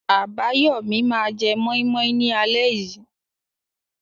Abayomi máa jẹ moi moi ní alẹ́ yìí.